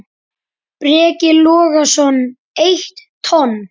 Breki Logason: Eitt tonn?